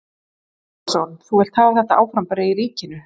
Breki Logason: Þú vilt hafa þetta áfram bara í ríkinu?